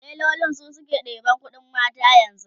tailoli su suke ɗeban ƙuɗin mata yanzu